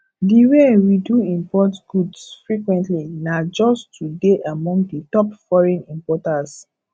the way we do import goods frequently nah just to dey among the top foreign importers